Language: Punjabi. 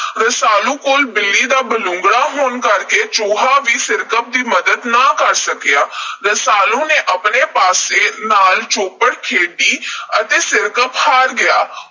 ਰਸਾਲੂ ਕੋਲ ਬਿੱਲੀ ਦਾ ਬਲੂੰਗੜਾ ਹੋਣ ਕਰਕੇ ਚੂਹਾ ਵੀ ਸਿਰਕੱਪ ਦੀ ਮੱਦਦ ਨਾ ਕਰ ਸਕਿਆ। ਰਸਾਲੂ ਨੇ ਆਪਣੇ ਪਾਸੇ ਨਾਲ ਚੌਪੜ ਖੇਡੀ ਤੇ ਸਿਰਕੱਪ ਹਾਰ ਗਿਆ।